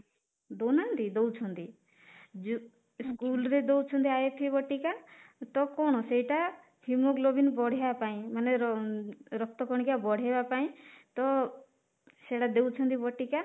ଦଉନାହାନ୍ତି ଦଉଛନ୍ତି ଯୋଉ ସ୍କୁଲ ରେ ଦଉଚନ୍ତି ବଟିକା ତ କଣ ସେଟା haemoglobin ବଢେଇବା ପାଇଁ ମାନେ ରକ୍ତ କଣିକା ବଢେଇବା ପାଇଁ ତ ସେଟା ଦଉଛନ୍ତି ବଟିକା